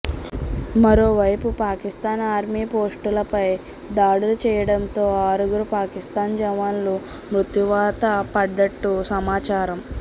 మరోవైపు పాకిస్తాన్ ఆర్మీపోస్టులపై దాడులు చేయడంతో ఆరుగురు పాకిస్తాన్ జవాన్లు మృత్యువాత పడ్డట్టు సమాచారం